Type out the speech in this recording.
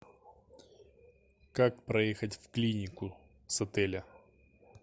как проехать в клинику с отеля